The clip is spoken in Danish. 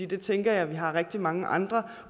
det tænker jeg at vi har rigtig mange andre